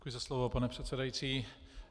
Děkuji za slovo, pane předsedající.